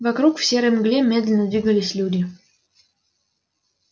вокруг в серой мгле медленно двигались люди